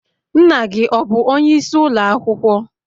Nna gi ọ bu onye isi ulo akwukwo?